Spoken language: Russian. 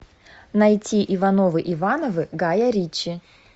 найти иванова ивановы гая ричи